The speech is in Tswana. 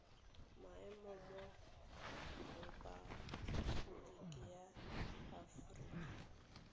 maemo mo repaboliki ya afoprika